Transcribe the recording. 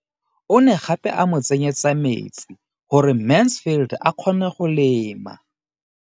O ne gape a mo tsenyetsa metsi gore Mansfield a kgone go lema.